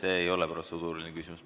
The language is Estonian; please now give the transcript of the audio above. See ei ole protseduuriline küsimus.